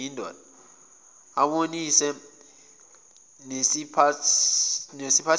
abonisane nesiphathimandla sendawo